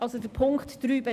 Dies betrifft den Punkt 3.